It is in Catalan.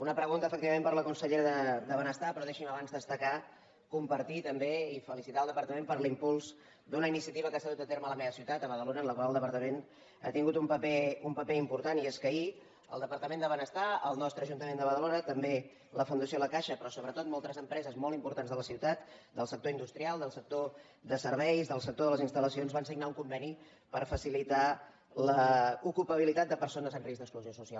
una pregunta efectivament per a la consellera de benestar però deixi’m abans destacar compartir també i felicitar el departament per l’impuls d’una iniciativa que s’ha dut a terme a la meva ciutat a badalona en la qual el departament ha tingut un paper important i és que ahir el departament de benestar el nostre ajuntament de badalona també la fundació la caixa però sobretot moltes empreses molt importants de la ciutat del sector industrial del sector de serveis del sector de les instal·pabilitat de persones en risc d’exclusió social